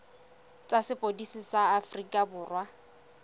tsa sepodisi sa aforika borwa